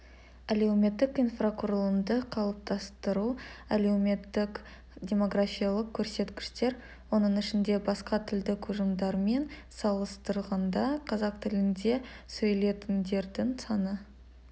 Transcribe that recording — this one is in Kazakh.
әлеуметтік инфрақұрылымды қалыптастыру әлеуметтік-демографиялық көрсеткіштер оның ішінде басқа тілдік ұжымдармен салыстырғанда қазақ тілінде сөйлейтіндердің саны